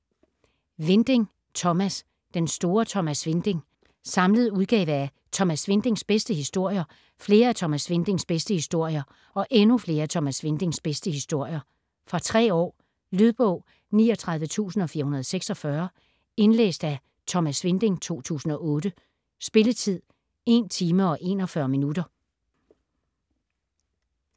Winding, Thomas: Den store Thomas Winding Samlet udgave af: Thomas Windings bedste historier, Flere af Thomas Windings bedste historier og Endnu flere af Thomas Windings bedste historier. Fra 3 år. Lydbog 39446 Indlæst af Thomas Winding, 2008. Spilletid: 1 timer, 41 minutter.